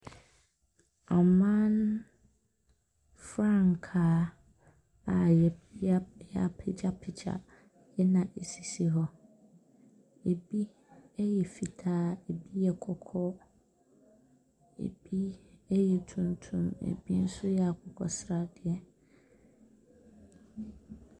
Aman frankaa a yɛa yɛapegyapegy na esisi hɔ. Ebi yɛ fitaa. Ebi yɛ kɔkɔɔ. Ebi yɛ tuntum. Ebi nso yɛ akkɔ sradeɛ.